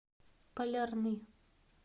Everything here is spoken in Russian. полярный